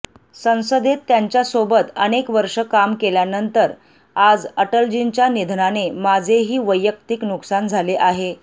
संसदेत त्यांच्यासोबत अनेक वर्षे काम केल्यानंतर आज अटलजींच्या निधनाने माझेही वैयक्तिक नुकसान झाले आहे